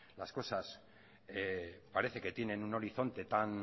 las cosas parece que tienen un horizonte tan